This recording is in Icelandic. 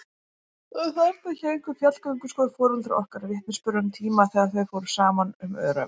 Og þarna héngu fjallgönguskór foreldra okkar, vitnisburður um tíma þegar þau fóru saman um öræfin.